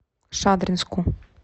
шадринску